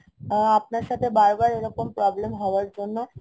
আ~ আপনার সাথে বার বার এরকম problem হওয়ার জন্য